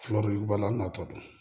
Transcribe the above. Fulaw b'a la natɔ don